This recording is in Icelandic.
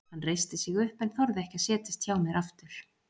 Hann reisti sig upp en þorði ekki að setjast hjá mér aftur.